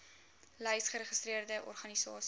lys geregistreerde organisasies